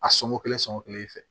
A sɔngɔ kelen sɔngɔ kelen i fɛ